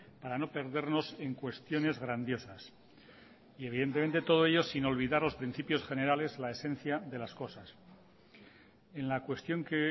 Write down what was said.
para no perdernos en cuestiones grandiosas y evidentemente todo ello sin olvidar los principios generales la esencia de las cosas en la cuestión que